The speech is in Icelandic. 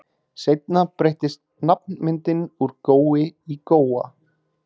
Seinna breyttist nafnmyndin úr Gói í Góa.